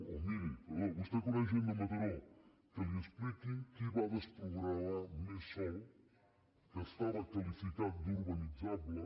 o miri perdó vostè coneix gent de mataró que li expliquin qui va desprogramar més sòl que es·tava qualificat d’urbanitzable